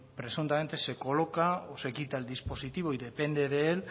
presuntamente se coloca o se quita el dispositivo y depende de él